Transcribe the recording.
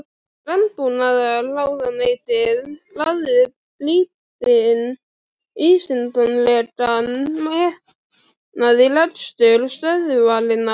Landbúnaðarráðuneytið lagði lítinn vísindalegan metnað í rekstur stöðvarinnar.